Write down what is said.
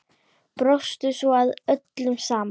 Brostu svo að öllu saman.